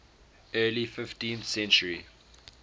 early fifteenth century